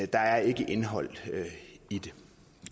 der er ikke indhold i det